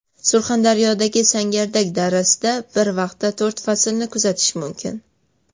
Surxondaryodagi Sangardak darasida bir vaqtda to‘rt faslni kuzatish mumkin .